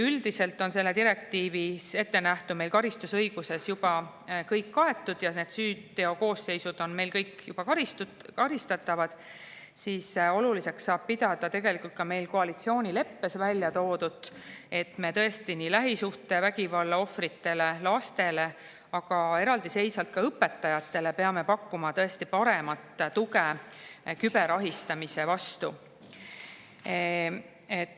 Üldiselt on selles direktiivis ettenähtu meie karistusõiguses juba kaetud ja need süüteokoosseisud on meil juba karistatavad, aga oluliseks saab pidada tegelikult koalitsioonileppes väljatoodut, et me lähisuhtevägivalla ohvritele, lastele, aga eraldiseisvalt ka õpetajatele peame pakkuma paremat tuge küberahistamise korral.